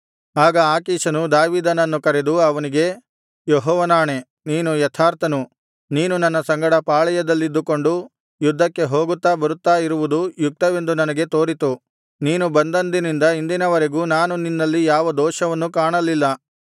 ಆಗ ಆಕೀಷನು ದಾವೀದನನ್ನು ಕರೆದು ಅವನಿಗೆ ಯೆಹೋವನಾಣೆ ನೀನು ಯಥಾರ್ಥನು ನೀನು ನನ್ನ ಸಂಗಡ ಪಾಳೆಯದಲ್ಲಿದ್ದುಕೊಂಡು ಯುದ್ಧಕ್ಕೆ ಹೋಗುತ್ತಾ ಬರುತ್ತಾ ಇರುವುದು ಯುಕ್ತವೆಂದು ನನಗೆ ತೋರಿತು ನೀನು ಬಂದಂದಿನಿಂದ ಇಂದಿನವರೆಗೂ ನಾನು ನಿನ್ನಲ್ಲಿ ಯಾವ ದೋಷವನ್ನೂ ಕಾಣಲಿಲ್ಲ